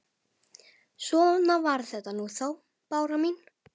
Svona var þetta nú þá, Bára mín.